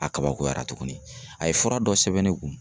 A kabakoyara tuguni a ye fura dɔ sɛbɛn ne kun.